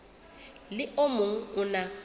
le o mong o na